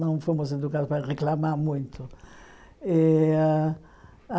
Não fomos educadas para reclamar muito. E a